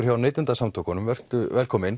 hjá Neytendasamtökunum velkominn